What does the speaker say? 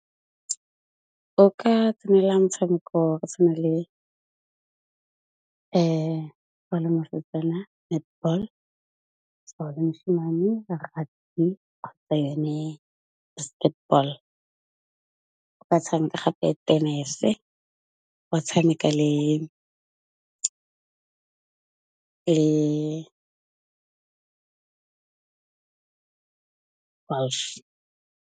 O ka tsenela motshameko wa go tshwana le ha o le mosetsana netball, so ha o le moshemane le rugby kgotsa yone basketball. Ba tshameka gape tenese, ba tshameka le golf.